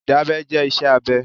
Ìdábẹ́ jẹ́ iṣẹ́ abẹ.